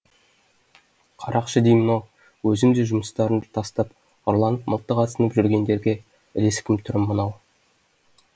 қарақшы деймін ау өзім де жұмыстарын тастап ұрланып мылтық асынып жүргендерге ілескін түрім мынау